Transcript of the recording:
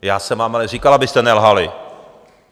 Já jsem vám ale říkal, abyste nelhali.